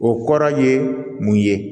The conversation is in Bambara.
O kɔrɔ ye mun ye